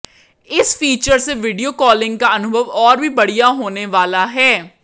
इस फीचर से video calling का अनुभव और भी बढ़िया होने वाला है